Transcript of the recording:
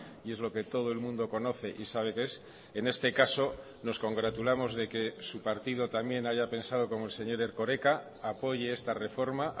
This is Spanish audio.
y es lo que todo el mundo conoce y sabe qué es en este caso nos congratulamos de que su partido también haya pensado como el señor erkoreka apoye esta reforma